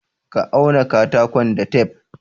Ka auna katakon da tef!